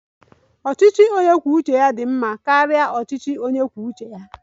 Ọchịchị onye kwuo uche ya dị mma karịa ọchịchị onye kwuo uche ya?